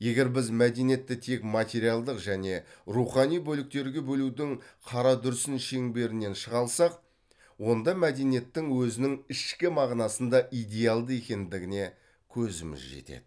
егер біз мәдениетті тек материалдық және рухани бөліктерге бөлудің қарадүрсін шеңберінен шыға алсақ онда мәдениеттің өзінің ішкі мағынасында идеалды екендігіне көзіміз жетеді